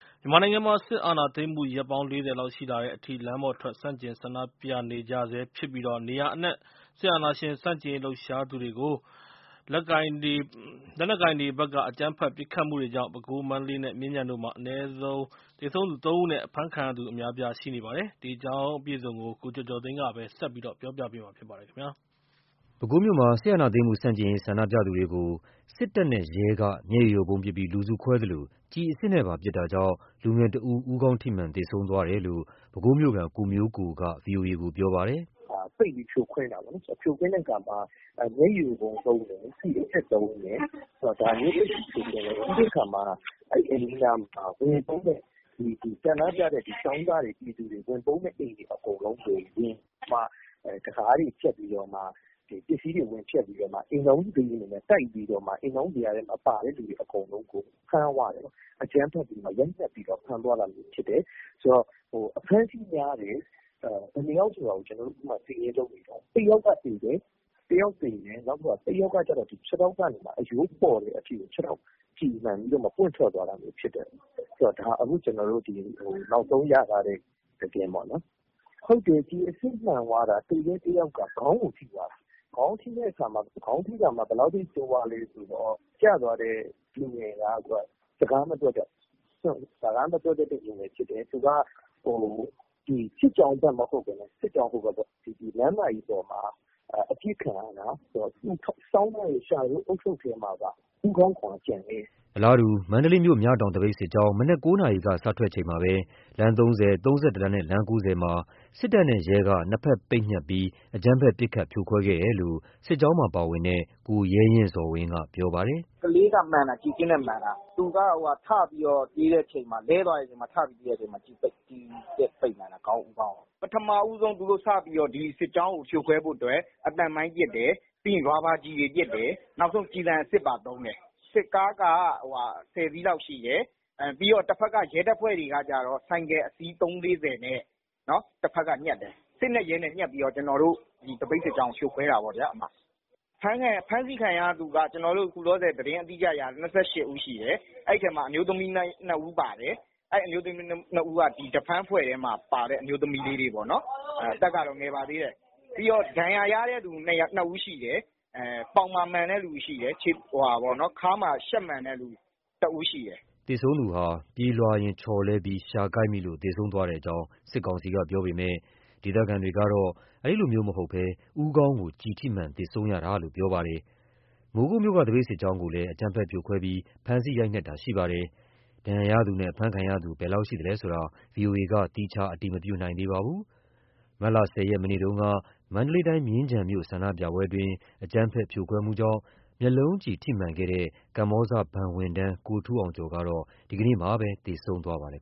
မြန်မာနိုင်ငံမှာ စစ်အာဏာသိမ်းမှု ရက်ပေါင်း ၄၀ နီးပါးကြာတဲ့ထိ ဆန့်ကျင်ကန့်ကွက်ပွဲတွေဆက်ဖြစ်နေသလို စစ်တပ်နဲ့ရဲ့ အကြမ်းဖက်ဖြိုခွဲတာကြောင့် သေဆုံးသူအရေအတွက်လည်း တိုးလာနေပါတယ်။ ဒီကနေ့ ဆန္ဒပြပွဲတွေအတွင်း ပဲခူး၊ မန္တလေးနဲ့ မြင်းခြံတို့မှာ သေဆုံးသူ သုံး ဦးထက်မနည်းရှိခဲ့ပြီး ဆန္ဒပြသူအများအပြား အဖမ်းခံထားရပါတယ်။ ဒီအကြောင်း ကိုကျော်ကျော်သိန်းက ဆက်ပြောပြပါမယ်။ မတ်လ ၁၁ ရက် ဒီကနေ့ ပဲခူးမြို့မှာ စစ်အာဏာသိမ်းဆန့်ကျင်ရေး ဆန္ဒဖော်ထုတ်သူတွေကို လက်နက်ကိုင် စစ်တပ်နဲ့ ရဲတွေက မျက်ရည်ယိုဗုံးပစ်ပြီး လူစုခွဲသလို ကျည်အစစ်နဲ့ပါပစ်တာကြောင့် လူငယ်တစ်ဦး ဦးခေါင်းပွင့်သေဆုံးသွားတယ်လို့ ပဲခူးမြို့ခံ ကိုမျိုးကိုက ဗွီအိုအေကို ပြောပါတယ်။ “ပိတ်ပြီး ဖြိုခွင်းတယ်ပေါ့နော်၊ ဖြိုခွင်းတဲ့အခါမှာ မျက်ရည်ယိုဗုံးသုံးတယ်။ ကျည်အစစ်သုံးတယ်၊ ဒါလေးနဲ့ ဖြိုခွင်းတယ်ပေါ့နော်။ ပြီးတော့ အဲ့ဒီအိမ်နီးနားမှာ ဆန္ဒပြတဲ့ ကျောင်းသားတွေ၊ ပြည်သူတွေ ဝင်ပုန်းတဲ့ အိမ်တွေ အကုန်လုံးဝင်ပြီး တံခါးတွေ ဖျက်ပြီးတော့မှ ပစ္စည်းတွေ ဝင်ဖျက်ပြီးတော့မှ အိမ်ထောင်စုဇယားတွေကို တိုက်ပြီးတော့မှ အိမ်ထောင်စုဇယားထဲမပါတဲ့လူတွေအကုန်လုံးကို ဖမ်းသွားတယ်။ အကြမ်းဖက်ပြီးတော့မှာ ရိုက်နှက်ပြီးတော့ ဖမ်းသွားတာမျိုးဖြစ်တယ်။ အဖမ်းအဆီးများတယ်။ ဘယ်နှစ်ယောက်ဆိုတာ ကျနော်တို့ အခုမှ စာရင်းလုပ်နေတုန်း။ တစ်ယောက်က သေတယ်၊ နောက်တစ်ယောက်ကကျတော့ ခြေထောက်ကနေမှ အရိုးပေါ်တဲ့အထိကို ခြေထောက်ကျည်မှန်ပြီးတော့ ပွင့်ထွက်သွားတာမျိုးဖြစ်တယ်။ ဒါ အခုကျနော်တို့ နောက်ဆုံးရထားတဲ့ သတင်းပေ့ါနော်။ ဟုတ်တယ်။ ကျည်အစစ်မှန်သွားတာ။ သေတဲ့တစ်ယောက်က ခေါင်းကို ထိသွားတာ။ ခေါင်းထိတာမှ ဘယ်လောက်ထိ ဆိုးသွားလဲဆိုတော့... ကျသွားတဲ့လူငယ်က စကားမပြောတတ်ဘူး။ စကားမပြောတတ်တဲ့ လူငယ်ဖြစ်တယ်။ စစ်ကြောင်းဘက်မဟုတ်ဘဲနဲ့ စစ်ကြောင်းဟိုဘက်ပေါ့... လမ်းမကြီးပေါ်မှာ အပစ်ခံရတာ။ သူဆောင်းထားတဲ့ လျှာထိုးဦးထုတ်ထဲမှာက ဦးခေါင်းခွံကျန်ခဲ့တယ်။” အလားတူ အာဏာသိမ်းစစ်ကောင်စီကို ဆန့်ကျင်ဆန္ဒပြနေတဲ့ မန္တလေးမြို့ မြတောင်သပိတ်စစ်ကြောင်း မနက် ၉ နာရီက စထွက်တဲ့အချိန်မှာပဲ လမ်း ၃၀၊ လမ်း ၃၁ နဲ့ လမ်း ၉၀ မှာ လက်နက်ကိုင်တပ်ဖွဲ့တွေဘက်က နှစ်ဘက်ပိတ်ညှပ်ပြီး အကြမ်းဖက်ပစ်ခတ်ဖြိုခွဲခဲ့တယ်လို့စစ်ကြောင်းမှာ ပါဝင်တဲ့ ကိုရဲရင့်ဇော်ဝင်းက ပြောပါတယ်။ “ကလေးက မှန်တာ ကျည်အစစ်နဲ့ မှန်တာ။ သူက ထပြီးတော့ ပြေးတဲ့ အချိန်မှာ လဲသွားတဲ့အချိန်မှာ ထတဲ့အချိန်မှာ ကျည်စစ်ပိတ်မှန်တာ ဦးခေါင်းကို။ ပထမဦးဆုံး သူတို့ စပြီး ဒီစစ်ကြောင်းကို ဖြိုခွဲဖို့အတွက် အသံမိုင်းပစ်တယ်။ ပြီးရင် ရာဘာကျည်ပစ်တယ်၊ နောက်ဆုံး ကျည်ဆံအစစ်ပါသုံးတယ်။ စစ်ကားက ၁၀ စီးလောက်ရှိတယ်၊ ပြီးတော့ တဘက်က ရဲတပ်ဖွဲ့တွေကကျတော့ ဆိုင်ကယ်အစီး ၃၀၊ ၄၀ နဲ့ တဘက်က ညှပ်တယ်။ စစ်နဲ့ ရဲနဲ့ ညှပ်ပြီး ကျနော်တို့ ဒီသပိတ်စစ်ကြာင်းကို ဖြိုခွဲတာပေါ့နော်ဗျာ။ အဖမ်းဆီးခံရသူက ကျနော်တို့ အခုလောလောဆယ် သတင်းအတိအကျရထားတာ ၂၈ ဦး ရှိတယ်။ အဲ့ဒီထဲမှာ အမျိုးသမီး နှစ်ဦးပါတယ်။ အဲ့ဒီအမျိုးသမီး နှစ်ဦးက ဒီ defense အဖွဲ့ထဲမှာပါတဲ့ အမျိုးသမီးလေးတွေပေါ့နော်။ အသက်ကတော့ ငယ်ပါသေးတယ်။ ပြီးတော့ ဒဏ်ရာရသူ နှစ်ဦးရှိတယ်။ ပေါင်မှာ မှန်တဲ့ သူ ရှိတယ်၊ ခါးမှာ ရှပ်မှန်တဲ့ လူ တစ်ဦးရှိတယ်။” သေဆုံးသူဟာ ပြေးလွှားရင်း ချော်လဲပြီး လျှာကိုက်မိလို့ သေဆုံးသွားကြောင်း စစ်ကောင်စီက ပြောပေမဲ့ ဒေသခံတွေဘက်ကတော့ ပြေးလွှားရင်း ခိုက်မိလို့ သေဆုံးတာ မဟုတ်ဘဲ ဦးခေါင်းကျည်ထိမှန်ပြီး သေဆုံးရတာလို့ ပြောပါတယ်။ မိုးကုတ်မြို့က သပိတ်စစ်ကြောင်းကိုလည်း အကြမ်းဖက်ဖြိုခွင်းပြီး ဖမ်းဆီးရိုက်နှက်တာလည်းရှိပါတယ်။ ဒဏ်ရာရသူနဲ့ အဖမ်းခံရသူ ဘယ်လောက်ရှိသလဲဆိုတာ ဗွီအိုအေက သီးခြားအတည်မပြုနိုင်သေးပါဘူး။ မတ်လ ၁၀ ရက် မနေ့တုန်းက မန္တလေးတိုင်း မြင်းခြံမြို့မှာ ဆန္ဒပြပွဲ အကြမ်းဖက်ပစ်ခတ်ဖြိုခွင်းမှုမှာ မျက်လုံးကျည်ထိမှန်ခဲ့တဲ့ KBZ Bank ဝန်ထမ်း ကိုထူးအောင်ကျော် ဒီနေ့မှာ သေဆုံးသွားပါတယ်